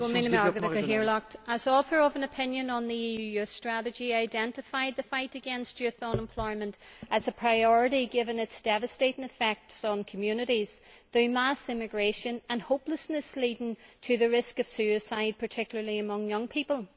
A Uachtaráin, go raibh míle maith agat. As author of an opinion on the EU Youth Strategy, I identified the fight against youth unemployment as a priority, given its devastating effects on communities through mass emigration and hopelessness leading to the risk of suicide, particularly among young people.